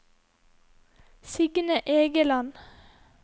Signe Egeland